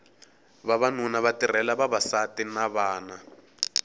vavanuna va tirhela vavasati ni vana